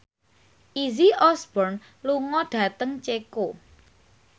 Izzy Osborne lunga dhateng Ceko